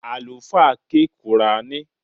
Àlùfáà ké qùrání